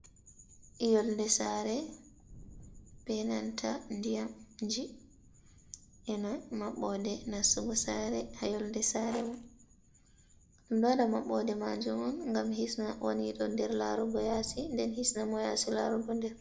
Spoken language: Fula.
yolde sare benanta diyamji ena maɓɓode nasugo sare, ha yolde sare mun, ɗum ɗo wada maɓɓode majum on, gam hisna wani ɗo der larugo yaasi, den hisna mo yaasi larugo nder.